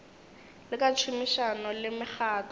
le ka tšhomišano le mekgatlo